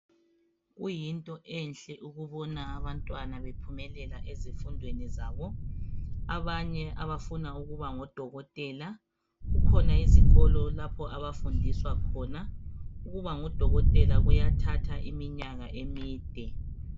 Kuyinto enhle ukubona abantwana bephumelela ezifundweni zabo abanye abafuna ukuba ngodokotela kukhona izikolo lapha abafundiswa khona ukuba ngodokotela kuyathatha iminyaka emide.